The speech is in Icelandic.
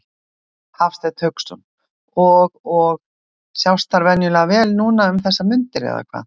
Hafsteinn Hauksson: Og, og sjást þær óvenjulega vel núna um þessar mundir eða hvað?